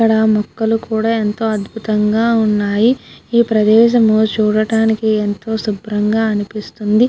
ఇక్కడ మొక్కలు కూడ అంతో అద్భుతంగా ఉన్నాయి. ఈ ప్రదేశము చూడానికి ఎంతో శుభ్రంగా అనిపిస్తుంది.